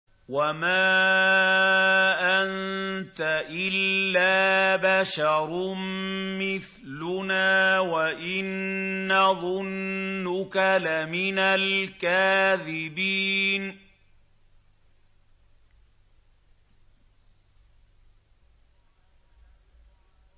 وَمَا أَنتَ إِلَّا بَشَرٌ مِّثْلُنَا وَإِن نَّظُنُّكَ لَمِنَ الْكَاذِبِينَ